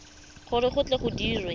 gore go tle go dirwe